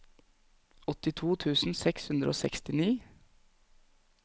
åttito tusen seks hundre og sekstini